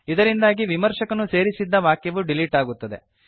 ಇದರಿಂದಾಗಿ ವಿಮರ್ಶಕನು ಸೇರಿಸಿದ್ದ ವಾಕ್ಯವು ಡಿಲೀಟ್ ಆಗುತ್ತದೆ